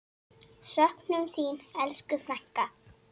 Söknum þín, elsku frænka.